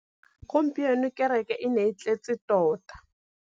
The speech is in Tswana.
Gompieno kêrêkê e ne e tletse tota.